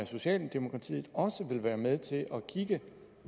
socialdemokratiet også vil være med til at kigge